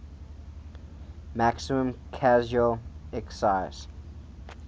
maximum casual excise